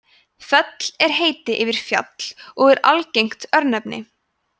fell er heiti yfir fjall og er algengt örnefni